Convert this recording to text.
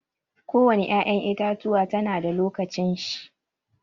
Ko wani ƴa'ƴan itatuwa ta na da lokacin shi.